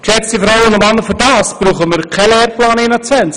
Geschätzte Damen und Herren, allein dafür brauchen wir keinen Lehrplan 21.